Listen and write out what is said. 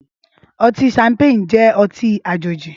Ọtin Ṣampéni jẹ̀ ọtin àjéji